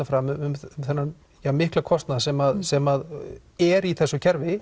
fram um þennan mikla kostnað sem sem er í þessu kerfi